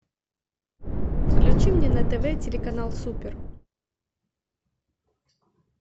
включи мне на тв телеканал супер